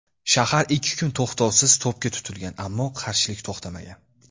Shahar ikki kun to‘xtovsiz to‘pga tutilgan, ammo qarshilik to‘xtamagan.